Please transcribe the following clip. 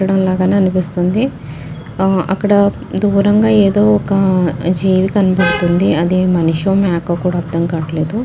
ఇక్కడ ఉన్నాగాని అనిపిస్తుంది అ అక్కడ దూరంగా ఏదో ఒక్క జీవి కనపడుతుంది అది మనిషో మేకో కుడా అర్థం కావట్లేదు .